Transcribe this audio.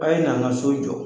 a' ye na n ka so jɔ.